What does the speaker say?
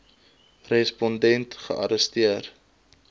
respon dent gearresteer